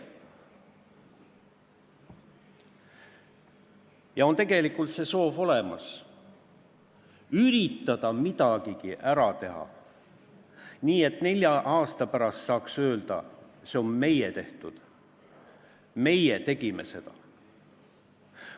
Ja tegelikult on olemas soov üritada midagigi ära teha, nii et nelja aasta pärast saaks öelda: see on meie tehtud, meie tegime seda.